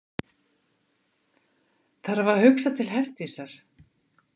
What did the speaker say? Þarf að hugsa til Herdísar.